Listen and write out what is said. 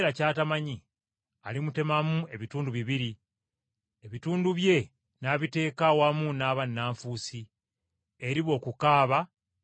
alimubonereza, era omugabo gwe guliba okubeera awamu n’abannanfuusi, eriba okukaaba n’okuluma obujiji.”